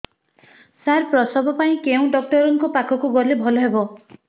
ସାର ପ୍ରସବ ପାଇଁ କେଉଁ ଡକ୍ଟର ଙ୍କ ପାଖକୁ ଗଲେ ଭଲ ହେବ